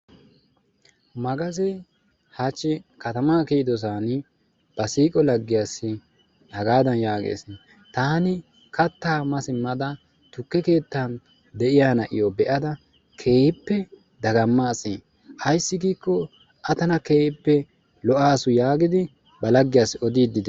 Magaze hachchi katama kiyidosan ba siiqo laggiyaassi hagaadan yaagees, taan kattaa ma simmada tukke keettan de'iya na'iyo be'ada keehippe dagammaasi ayssi giikko A tana keehippe lo''asu yaagidi ba laggiyassi odiidde de'ees.